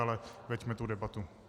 Ale veďme tu debatu.